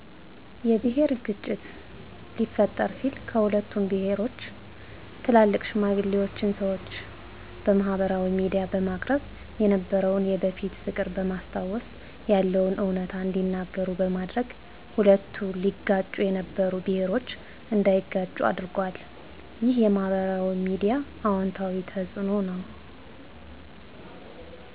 የብሔር ግጭት ሊፈጠር ሲል ከሁለቱም ብሄሮች ትላልቅ ሽማግሌዋችን ሰዋች በማህበራዊ ሚድያ በማቅረብ የነበረውን የበፊት ፍቅር በማስታወስ ያለውንም እውነታ እንዲናገሩ በማድረግ ሁለቱ ሊጋጩ የነበሩ ብሔሮች እንዳይጋጩ አድርጎል። ይህ የማሕበራዊ ሚዲያ አዎንታዊ ተጽዕኖው ነው።